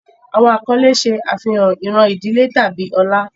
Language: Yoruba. Awọn akọle ṣe afihan iran idile tabi ọlá